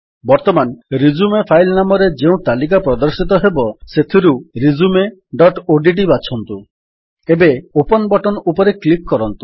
ବର୍ତ୍ତମାନ resume file ନାମ ଭାବରେ ଯେଉଁ ତାଲିକା ପ୍ରଦର୍ଶିତ ହେବ ସେଥିରୁ ରିଜ୍ୟୁମ ଡଟ୍ ଓଡିଟି ବାଛନ୍ତୁ ଏବେ ଓପନ୍ ବଟନ୍ ଉପରେ କ୍ଲିକ୍ କରନ୍ତୁ